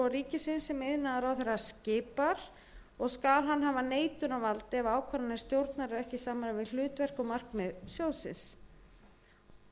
ríkisins sem iðnaðarráðherra skipar og skal hann hafa neitunarvald ef ákvarðanir stjórnar eru ekki í samræmi við hlutverk og markmið